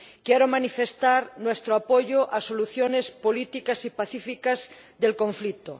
Quiero manifestar nuestro apoyo a soluciones políticas y pacíficas del conflicto.